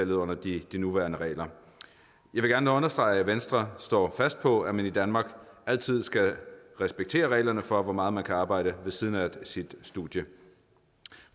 under de nuværende regler jeg vil gerne understrege at venstre står fast på at man i danmark altid skal respektere reglerne for hvor meget man kan arbejde ved siden af sit studie